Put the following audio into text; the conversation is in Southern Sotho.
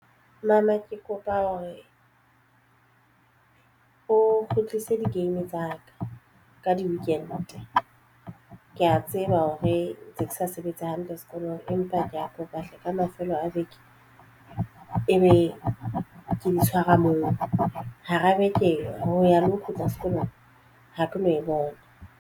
Mama ke kopa hore o kgutlise di-game tsa ka ka di-weekend ke ya tseba hore ntse ke sa sebetse hantle sekolong empa ke ya kopa hle ka mafelo a beke e be ke di tshwara mona kapa hara beke ho ya le ho kgutla sekolong ha ke no e bona.